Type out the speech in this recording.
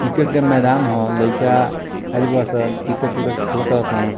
Cricket के मैदान हअ लइका आइल बा सन क्रिकेट उरकेट खेलतारे सन।